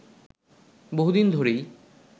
বহুদিন ধরেই